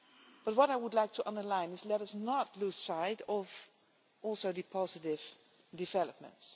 But what I would like to underline is let us not lose sight of also the positive developments.